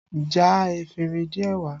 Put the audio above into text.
Já efinrin díẹ̀ wá!